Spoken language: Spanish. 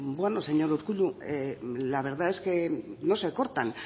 beno señor urkullu la verdad es que no se cortan